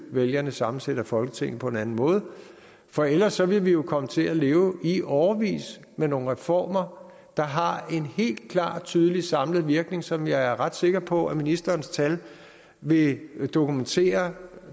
vælgerne sammensætter folketinget på en anden måde for ellers vil vi jo komme til at leve i årevis med nogle reformer der har en helt klar og tydelig samlet virkning som jeg er ret sikker på ministerens tal vil dokumentere